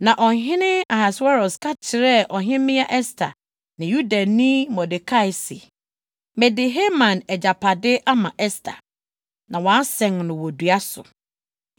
Na ɔhene Ahasweros ka kyerɛɛ Ɔhemmea Ɛster ne Yudani Mordekai se, “Mede Haman agyapade ama Ɛster, na wɔasɛn no wɔ dua so, efisɛ ɔpɛɛ sɛ ɔsɛe Yudafo.